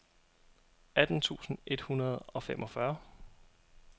atten tusind et hundrede og femogfyrre